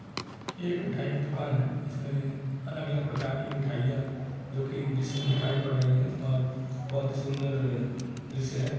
यह एक मीठाय की दुकान है इस में अलग अलग प्रकार की मिठाईया जो की डिश मे दिखाई पड़ रही है और बहुत ही सुन्दर दृश्य है।